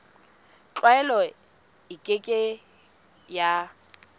tlwaelo e ke ke ya